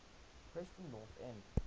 preston north end